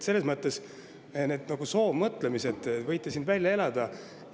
Need soovmõtlemised võite siin välja elada.